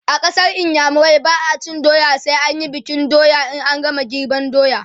a ƙasar iyamurai ba'a cin doya sai an Yi bikin sabon doya in an game girban doya